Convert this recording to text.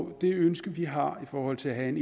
og det ønske vi har i forhold til at have en